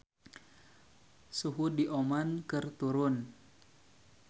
Suhu di Oman keur turun